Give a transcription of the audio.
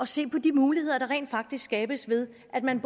se på de muligheder der rent faktisk skabes ved at man